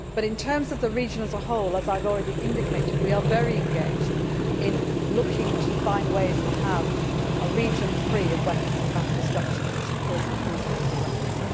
In terms of the region as a whole, as I have already indicated, we are very engaged in looking to find ways to have a region free of weapons of mass destruction, which of course includes nuclear weapons.